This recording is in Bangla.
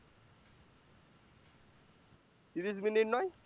তিরিশ minute নয়?